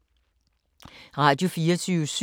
Radio24syv